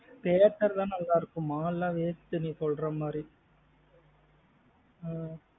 theatre தான் நல்லாயிருக்கும் mall லா waste நீ சொல்றமாதிரி.